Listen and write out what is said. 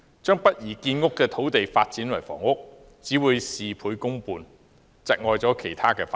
將不宜建屋的土地發展為房屋，只會事倍功半，窒礙其他發展。